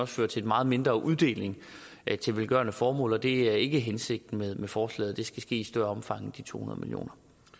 føre til en meget mindre uddeling til velgørende formål og det er ikke hensigten med forslaget det skal ske i større omfang end de to hundrede million